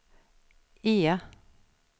E